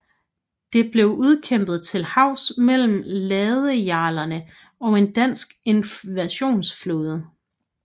Det blev udkæmpet til havs mellem ladejarlerne og en dansk invasionsflåde